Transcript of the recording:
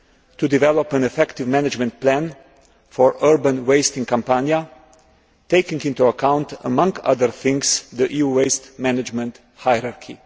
to develop an effective management plan for urban waste in Campania, taking into account, amongst other things, the EU waste management hierarchy.